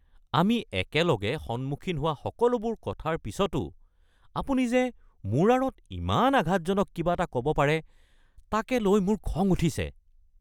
আমি একেলগে সন্মুখীন হোৱা সকলোবোৰ কথাৰ পিছতো আপুনি যে মোৰ আঁৰত ইমান আঘাতজনক কিবা এটা ক’ব পাৰে তাকে লৈ মোৰ খং উঠিছে।